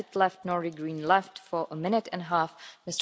Frau Präsidentin, liebe Kolleginnen und Kollegen!